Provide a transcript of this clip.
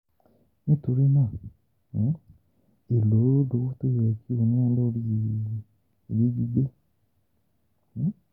nítorí náà, um elo lowo to yẹ ki o na lori Ile gbigbe? um